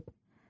Çoxdan ölüb.